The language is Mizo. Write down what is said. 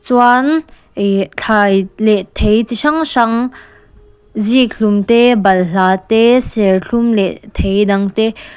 chuan ih thlai leh thei chi hrang hrang zikhlum te balhla te serthlum leh thei dang te.